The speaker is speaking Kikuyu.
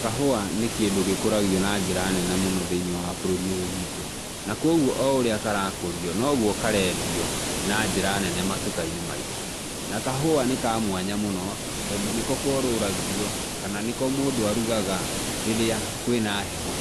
Kahũa nĩ kĩndũ gĩkũragio na njĩra nene mũno thĩinĩ wa bũrũri ũyũ witũ na kwoguo oũrĩa karakũrio noguo karendio na njĩra nene matuka-inĩ maitũ, na kahũa nĩ kamwanya mũno, tondũ nĩko korũragio kana nĩko mũndũ arugaga rĩrĩa kwĩna heho,